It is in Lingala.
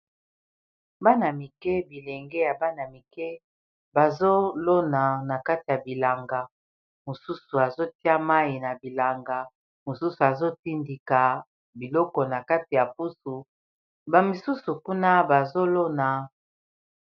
Bana mike bilenge, bazo lona na kati ya bilanga. Mosusu, azo tia mai na bilanga. Mosusu, azo tindika biloko na kati ya pusu. Ba misusu kuna ba zolona.